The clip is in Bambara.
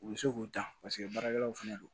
U bɛ se k'u ta paseke baarakɛlaw fɛnɛ don